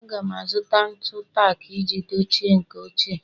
Aga m azụta ntu tak iji dochie nke ochie